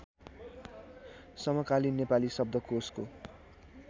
समकालीन नेपाली शब्दकोशको